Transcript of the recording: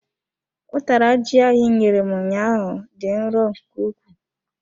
Utara ji ahụ inyere m ụnyaahụ dị nro nke ukwuu.